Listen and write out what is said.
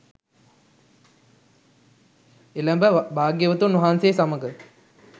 එළැඹ භාග්‍යවතුන් වහන්සේ සමඟ